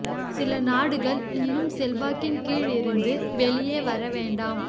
சில நாடுகள் இன்னும் செல்வாக்கின் கீழ் இருந்து வெளியே வர வேண்டாம்